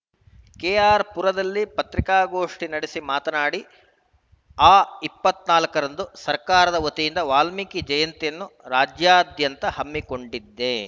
ಕೆಅರ್‌ಪುರದಲ್ಲಿ ಪತ್ರಿಕಾಗೋಷ್ಠಿ ನಡೆಸಿ ಮಾತನಾಡಿ ಅ ಇಪ್ಪತ್ತ್ ನಾಲ್ಕು ರಂದು ಸರ್ಕಾರದ ವತಿಯಿಂದ ವಾಲ್ಮೀಕಿ ಜಯಂತಿಯನ್ನು ರಾಜ್ಯಾದ್ಯಂತ ಹಮ್ಮಿಕೊಂಡಿದೆ